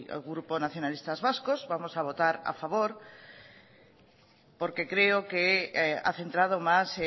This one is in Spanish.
y el grupo nacionalistas vascos vamos a votar a favor porque creo que ha centrado más